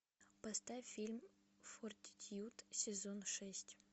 поставь фильм фортитьюд сезон шесть